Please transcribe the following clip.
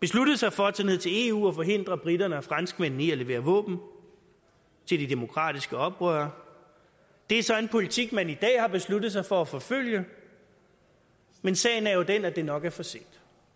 besluttede sig for at tage ned til eu og forhindre briterne og franskmændene i at levere våben til de demokratiske oprørere det er så en politik man i dag har besluttet sig for at forfølge men sagen er jo den at det nok er for sent